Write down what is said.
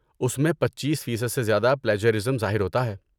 اس میں پچیس فیصد سے زیادہ پلیجرازم ظاہر ہوتا ہے